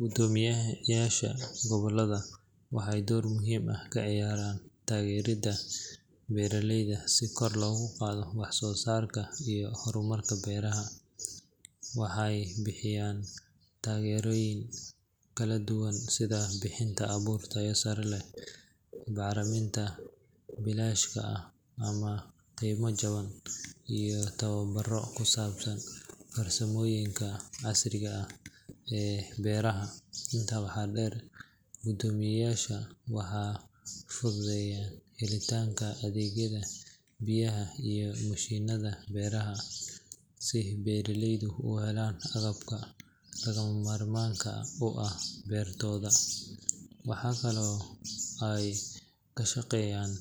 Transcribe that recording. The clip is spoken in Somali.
Guddoomiyayaasha gobollada waxay door muhiim ah ka ciyaaraan taageeridda beeraleyda si kor loogu qaado wax soo saarka iyo horumarka beeraha. Waxay bixiyaan taageerooyin kala duwan sida bixinta abuur tayo sare leh, bacriminta bilaashka ah ama qiimo jaban, iyo tababaro ku saabsan farsamooyinka casriga ah ee beeraha. Intaa waxaa dheer, guddoomiyayaasha waxay fududeeyaan helitaanka adeegyada biyaha iyo mashiinnada beeraha si beeraleydu u helaan agabka lagama maarmaanka u ah beertooda. Waxaa kaloo ay ka shaqeeyaan